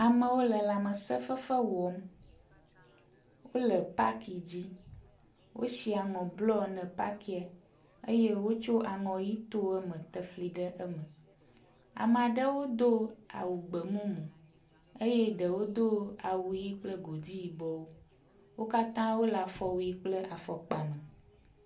Amewo le lãmesẽ fefe wɔm. Wole paki dzi. Wosi aŋɔ blɔ ne pakia eye wotso aŋɔ ʋi to eme te fli ɖe eme. Ame aɖewo do awu gbemumu eye ɖewo do awu ʋi kple godi yibɔwo. Wo katã wole afɔwui kple afɔkpa me